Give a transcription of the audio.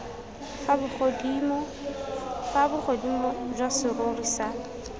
fa bogodimo jwa serori sa